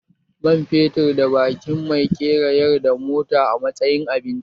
Man fetur da baƙin mai ke rayar da mota a matsayin abinci